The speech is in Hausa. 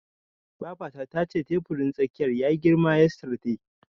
Babata tace teburin tsakiyar yayi girma yesterday.